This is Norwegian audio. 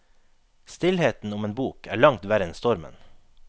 Stillheten om en bok er langt verre enn stormen.